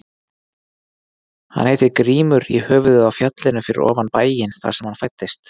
Hann heitir Grímur í höfuðið á fjallinu fyrir ofan bæinn þar sem hann fæddist.